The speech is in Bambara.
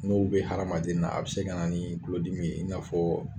N'o be hadamaden na a be se ka na ni kulolodimi in'a fɔ